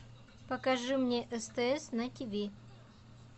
покажи мне стс на тв